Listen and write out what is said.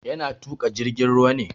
Yana tuƙa jirgin ruwa ne.